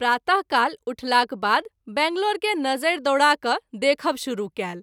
प्रात: काल उठलाक बाद बैंगलोर के नजरि दौड़ा क’ देखब शुरू कएल।